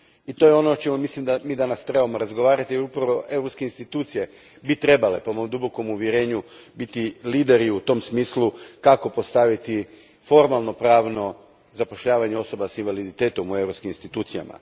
I to je ono o čemu mislim da danas trebamo razgovarati jer upravo europske institucije bi trebale po mom dubokom uvjerenju biti lideri u tom smislu kako postaviti formalnopravno zapošljavanje osoba s invaliditetom u europskim institucijama.